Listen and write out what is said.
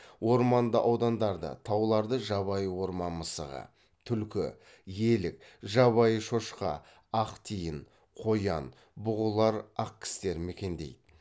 орманды аудандарды тауларды жабайы орман мысығы түлкі елік жабайы шошқа ақтиін қоян бұғылар ақкістер мекендейді